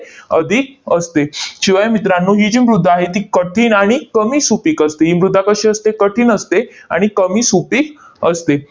अधिक असते. शिवाय मित्रांनो, ही जी मृदा आहे ती कठीण आणि कमी सुपीक असते, ही मृदा कशी असते? कठीण असते आणि कमी सुपीक असते.